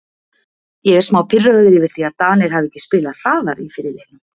Ég er smá pirraður yfir því að Danir hafi ekki spilað hraðar í fyrri leiknum.